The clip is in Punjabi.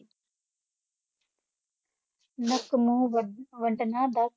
ਦਸ